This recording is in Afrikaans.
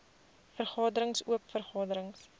vergaderings oop vergaderings